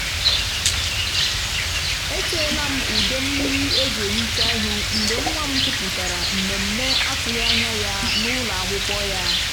e ṭeela m ude mmiri eji ehicha ihu mgbe nwa m kwupụtara mmemme atụghị anya ya n’ụlọ akwụkwọ ya.”